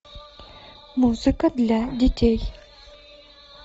музыка для детей